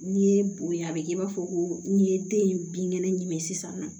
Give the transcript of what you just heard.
N'i ye bonɲa a bɛ kɛ i b'a fɔ ko n'i ye den in binkɛnɛ ɲini sisan nɔ